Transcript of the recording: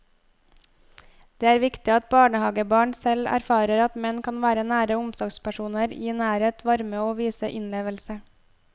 Det er viktig at barnehagebarn selv erfarer at menn kan være nære omsorgspersoner, gi nærhet, varme og vise innlevelse.